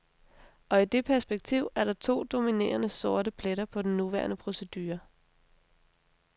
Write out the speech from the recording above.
Og i det perspektiv er der to dominerende sorte pletter på den nuværende procedure.